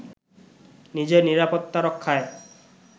নিজের নিরাপত্তা রক্ষায়